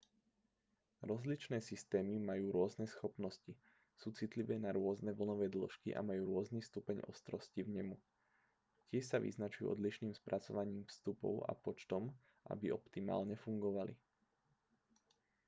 rozličné systémy majú rôzne schopnosti sú citlivé na rôzne vlnové dĺžky a majú rôzny stupeň ostrosti vnemu tiež sa vyznačujú odlišným spracovaním vstupov a počtom aby optimálne fungovali